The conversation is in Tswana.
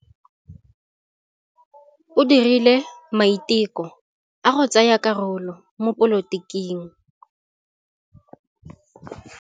O dirile maitekô a go tsaya karolo mo dipolotiking.